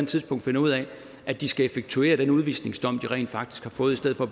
tidspunkt finder ud af at de skal effektuere den udvisningsdom de rent faktisk har fået i stedet for